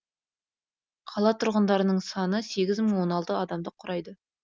қала тұрғындарының саны сегіз мың он алты адамды құрайды